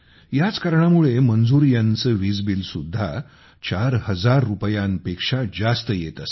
याच कारणामुळे मंजूर यांचे वीज बिल सुद्धा 4 हजार रुपयांपेक्षा जास्त येत असे